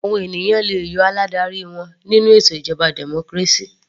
Àwọn ènìyàn le yọ aládarí wọn nínú ètò ìjọba democracy.